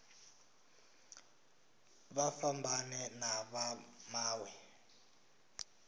vha fhambane na vha mawe